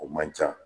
O man ca